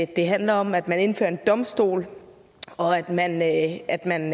det handler om at man indfører en domstol og at man at man